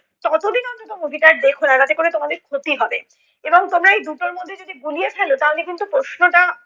ততোদিন অন্তত movie টা আর দেখো না। তাতে করে তোমাদের ক্ষতি হবে এবং তোমরা এই দুটোর মধ্যে যদি গুলিয়ে ফেলো তাহলে কিন্তু প্রশ্নটা